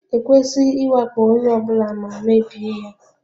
E kwesịghị ịwakpo onye ọ bụla ma mebie ya.